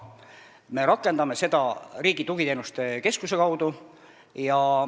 Me rakendame seda Riigi Tugiteenuste Keskuse kaudu.